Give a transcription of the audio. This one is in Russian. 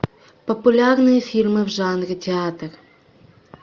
популярные фильмы в жанре театр